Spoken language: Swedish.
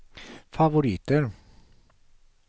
favoriter